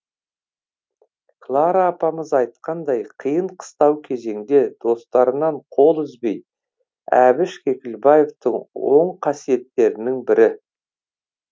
клара апамыз айтқандай қиын қыстау кезеңде достарынан қол үзбеу әбіш кекілбаевтың оң қасиеттерінің бірі